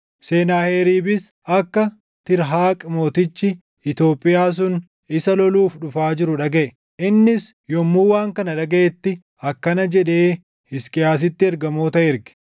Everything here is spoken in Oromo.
Senaaheriibis akka Tiirhaaq mootichi Itoophiyaa sun isa loluuf dhufaa jiru dhagaʼe. Innis yommuu waan kana dhagaʼetti, akkana jedhee Hisqiyaasitti ergamoota erge: